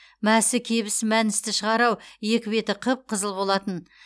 мәсі кебіс мәністі шығар ау екі беті қып қызыл болатын